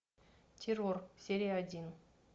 террор серия один